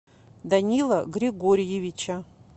данила григорьевича